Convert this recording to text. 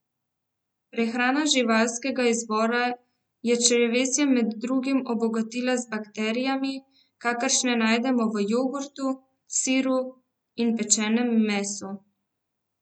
Prehrana živalskega izvora je črevesje med drugim obogatila z bakterijami, kakršne najdemo v jogurtu, siru in pečenem mesu.